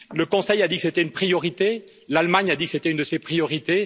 Le Conseil a dit que c'était une priorité, l'Allemagne a dit que c'était une de ses priorités.